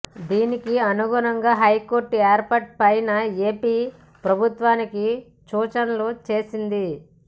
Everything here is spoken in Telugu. దీనికి అనుగుణంగా హైకోర్టు ఏర్పాటు పైన ఏపీ ప్రభుత్వానికి సూచనలు చేసింది